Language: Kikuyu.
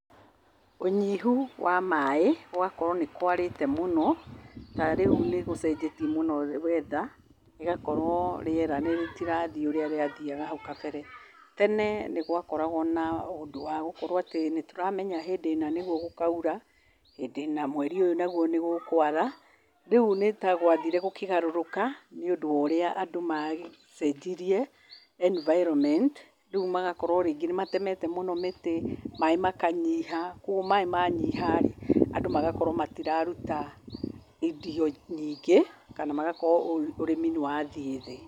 Ũnyihu wa maaĩ, gũgakorwo nĩ kwarĩte mũno, na rĩu nĩ gũcenjetie weather rĩgakorwo rĩera rĩtirathiĩ ũrĩa rĩathiaga hau kambere. Tene nĩ gwakoragwo na ũndũ wa gũkorwo atĩ nĩtũramenya hĩndĩ ĩna nĩgũo gũkaũra, hĩndĩ ĩna, mweri ũyũ naguo, nĩgũkwara rĩũ nĩtagwathire gũkĩgaruruka nĩ ũndũ wa ũrĩa andũ magĩcenjirie enviroment rĩũ magagĩkorwo ningĩ nĩmagĩtemete mũno mĩtĩ , maaĩ makanyiha, manyiha andũ magakorwo matiraruta irio rĩngĩ, kana magakorwo ũrĩmi nĩ wathiĩ thĩ.